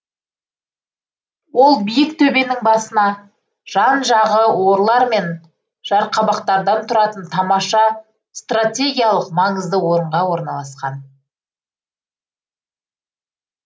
ол биік төбенің басына жан жағы орлар мен жарқабақтардан тұратын тамаша стратегиялық маңызды орынға орналасқан